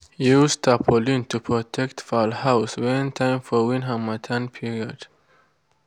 use tarpaulin to protect fowl house when time for wind harmattan period.